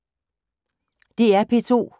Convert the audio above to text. DR P2